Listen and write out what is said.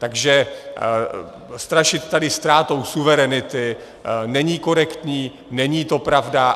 Takže strašit tady ztrátou suverenity není korektní, není to pravda.